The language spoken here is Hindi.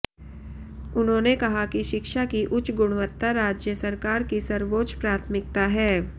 उन्होंने कहा कि शिक्षा की उच्च गुणवत्ता राज्य सरकार की सर्वोच्च प्राथमिकता है